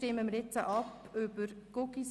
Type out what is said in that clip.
Sehen Sie dies ebenso?